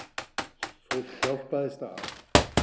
Fólk hjálpaðist að.